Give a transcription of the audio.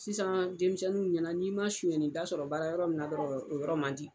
Sisan denmisɛnninninw ɲɛna n'i ma sɔyani daa sɔrɔ baara yɔrɔ min na dɔrɔn, o yɔrɔ man di!